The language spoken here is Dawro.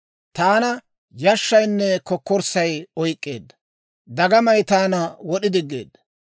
Taana yashshaynne kokkorssay oyk'k'eedda; dagamay taana wod'i diggeedda.